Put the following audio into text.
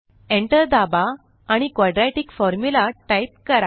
Enter दाबा आणि quadratic Formula type करा